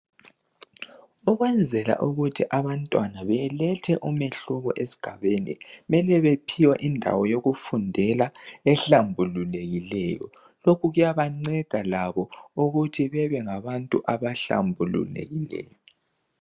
Ukwenzela ukuthi abantwana belethe umahluko esigabeni, kumele bephiwe indawo yokufundela ehlumbulukileyo lokhu kuyabanceda labo ukuthi bebe ngabantu abahlambulukileyo.